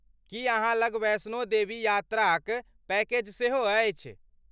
की अहाँ लग वैष्णो देवी यात्राक पैकेज सेहो अछि?